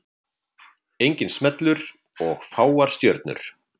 Enginn smellur og fáar stjörnur